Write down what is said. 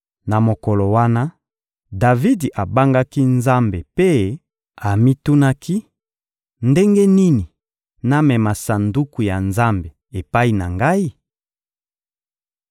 Na mokolo wana, Davidi abangaki Nzambe mpe amitunaki: «Ndenge nini namema Sanduku ya Nzambe epai na ngai?»